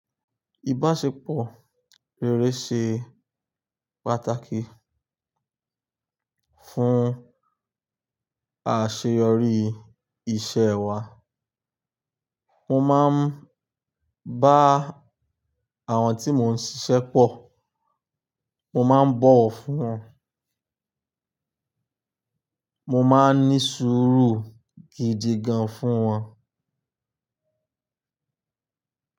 Ìbáṣepọ̀ rere ṣe pàtàkì fún àṣeyọrí iṣẹ́ wa. Mo máa ń bá àwọn tí mò ń ṣiṣẹ́ pọ̀. Mo má ń bọ̀wọ̀ fún wọn. Mo má ń ní sùúrù gidi gan fún wọn.